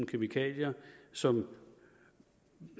kemikalier som